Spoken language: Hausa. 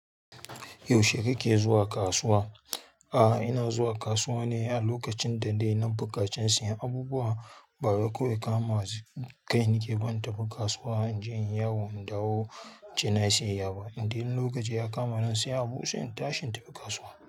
Yaushe kake zuwa kasuwa? Aa ina zuwa kasuwa ne a lokacin da dai na buƙaci sayen abubuwa. Bari ko ya kama zai kai ni ke ban taɓa kasuwa in je in yawo in dawo ci na sayaya ba. Indai lokaci ya kama na sayi abun sai in tashi in tafi kasuwa.